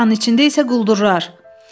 Dunkanın içində isə quldurlar.